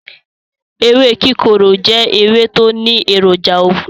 Ewé kíkorò jẹ́ ewé tó ní èròjà oògùn.